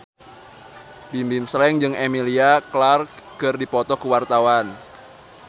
Bimbim Slank jeung Emilia Clarke keur dipoto ku wartawan